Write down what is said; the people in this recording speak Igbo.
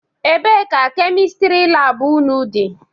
Ebee ka Kemịstịrị laabụ ụnụ dị?